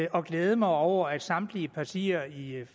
og glæde mig over at samtlige partier i